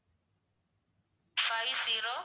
five zero